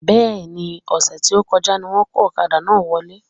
Bẹ́ẹ̀ni, ọ̀sẹ̀ tí o kọjá ni wón kó ọ̀kadà náà wọlé